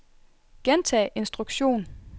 gentag instruktion